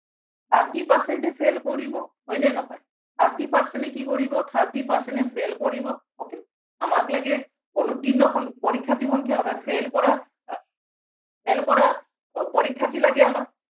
thirty percent এ fail কৰিব, হয়নে নহয়। thirty percent এ কি কৰিব thirty percent এ fail কৰিব, হয় নে নহয় okay আমাক লাগে অনুৰ্ত্তীৰ্ণ পৰীক্ষাৰ্থীৰ সংখ্যা অৰ্থাত fail কৰা আহ fail কৰা পৰীক্ষাৰ্থী লাগে আমাক।